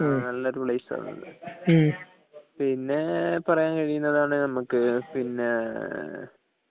നല്ലൊരു പ്ലെയ്സ് ആണ് പിന്നെ പറയാൻ കഴിയുന്നത് നമ്മക്ക് പിന്നെ